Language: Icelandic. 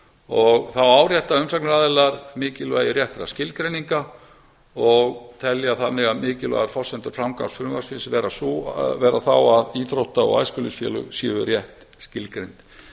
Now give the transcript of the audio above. frumvarpi þá árétta umsagnaraðilar mikilvægi réttra skilgreininga og telja þannig að mikilvæga forsendu framgangs frumvarpsins vera þá að íþrótta og æskulýðsfélög séu rétt skilgreind